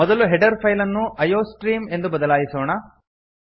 ಮೊದಲು header file ಅನ್ನು iostream ಎಂದು ಬದಲಾಯಿಸೋಣ